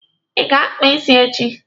Ị ga-akpa isi echi?